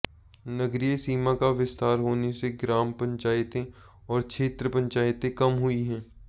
नगरीय सीमा का विस्तार होने से ग्राम पंचायतें और क्षेत्र पंचायतें कम हुई हैं